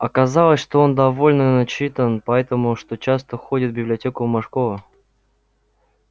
оказалось что он довольно начитан поэтому что часто ходит в библиотеку мошкова